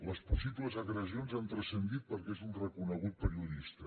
les possibles agressi·ons han transcendit perquè és un reconegut periodista